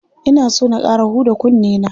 Ina so na ƙara huda kunne na.